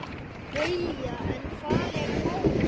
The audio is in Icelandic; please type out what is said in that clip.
BAUJA: En hvar er Lárus?